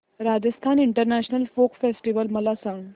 Rajasthan international folk festival मला सांग